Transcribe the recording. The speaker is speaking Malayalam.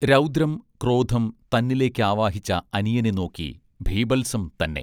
രൗദ്രം ക്രോധം തന്നിലേക്കാവാഹിച്ച അനിയനെ നോക്കി ബീഭത്സം തന്നെ